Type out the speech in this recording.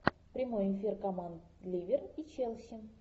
прямой эфир команд ливер и челси